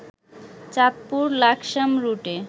চাঁদপুর-লাকসাম রুটে